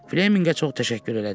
Fleminqə çox təşəkkür elədi.